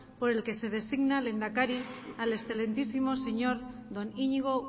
por el que se designa lehendakari al excelentísimo señor don iñigo